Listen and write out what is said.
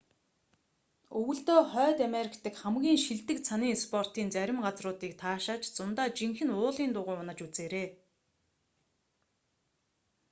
өвөлдөө хойд америк дах хамгийн шилдэг цанын спортын зарим газруудыг таашааж зундаа жинхэнэ уулын дугуй унаж үзээрэй